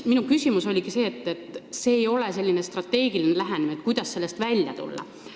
Minu küsimus oligi selle kohta, et see ei ole selline strateegiline lähenemine, mis aitaks kriisist välja tulla.